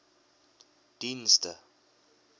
dienste